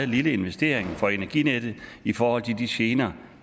lille investering for energinettet i forhold til de gener